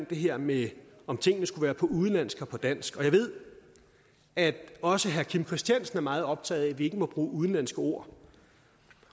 det her med om tingene skulle være på udenlandsk og på dansk og jeg ved at også herre kim christiansen er meget optaget af at vi ikke må bruge udenlandske ord